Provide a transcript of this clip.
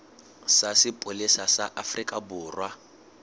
sa sepolesa sa afrika borwa